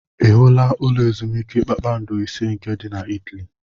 I hụla ụlọ ezumiike kpakpando ise nke dị na Italy?